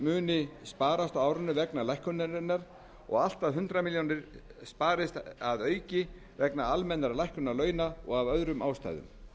muni sparast á árinu vegna lækkunarinnar og allt að hundrað milljónir króna sparist að auki vegna almennrar lækkunar launa og af öðrum ástæðum